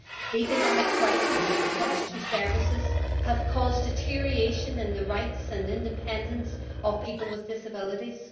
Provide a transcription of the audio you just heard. The economic crisis and cuts to services have caused deterioration in the rights and independence of people with disabilities.